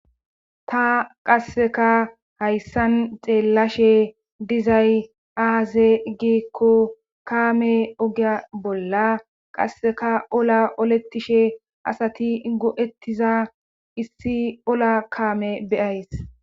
Ta qasekka hayssan xeelashe dizay aaze giiko kaame ogiya bolla qasseka ola oletishe asati go'etiza issi ola kaame be'ays.